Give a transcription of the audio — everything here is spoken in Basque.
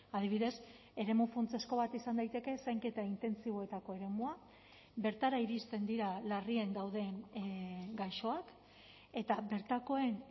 adibidez eremu funtsezko bat izan daiteke zainketa intentsiboetako eremua bertara iristen dira larrien dauden gaixoak eta bertakoen